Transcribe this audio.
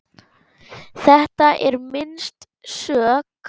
Þetta er minnst sök.